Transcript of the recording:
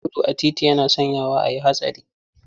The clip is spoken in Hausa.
Gudu a titi yana sanyawa a yi hatsari.